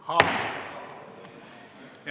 Haamer!